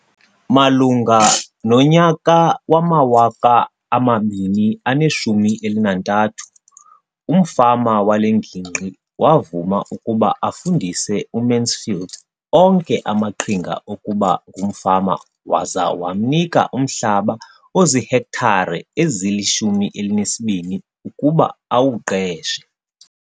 Malunga nonyaka wama-2013, umfama wale ngingqi wavuma ukuba afundise uMansfield onke amaqhinga okuba ngumfama waza wamnika umhlaba ozihektare ezili-12 ukuba awuqeshe.